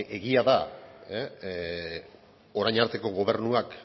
egia da orain arteko gobernuak